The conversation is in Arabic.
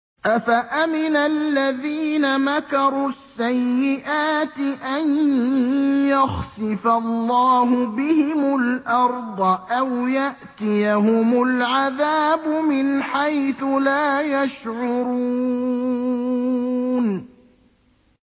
أَفَأَمِنَ الَّذِينَ مَكَرُوا السَّيِّئَاتِ أَن يَخْسِفَ اللَّهُ بِهِمُ الْأَرْضَ أَوْ يَأْتِيَهُمُ الْعَذَابُ مِنْ حَيْثُ لَا يَشْعُرُونَ